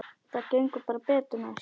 Það gengur bara betur næst.